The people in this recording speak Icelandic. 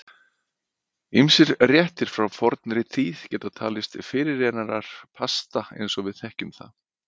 Ýmsir réttir frá fornri tíð geta talist fyrirrennarar pasta eins og við þekkjum það.